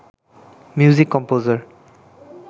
music composer